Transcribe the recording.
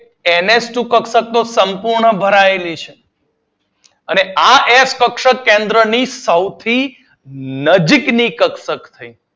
N H two કક્ષક સંપૂર્ણ ભરાયેલી છે આ એફ કક્ષક કેન્દ્ર ની સૌથી નજીક ની કક્ષક થઈ